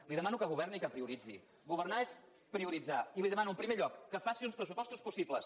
li demano que governi i que prioritzi governar és prioritzar i li demano en primer lloc que faci uns pressupostos possible